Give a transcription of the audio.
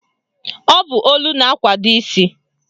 Ọ bụ olu na-akwado isi